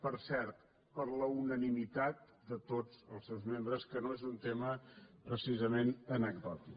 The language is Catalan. per cert per la unanimitat de tots els seus membres que no és un tema precisament anecdòtic